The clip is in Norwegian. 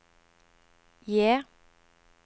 J